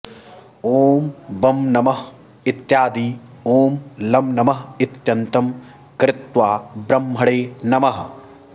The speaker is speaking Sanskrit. ॐ बं नमः इत्यादि ॐ लं नमः इत्यन्तं कृत्वा ब्रह्मणे नमः